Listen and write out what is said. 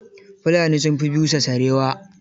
Fulani sun fi busa sarewa.